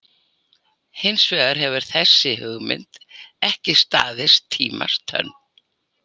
Hins vegar hefur þessi hugmynd ekki staðist tímans tönn.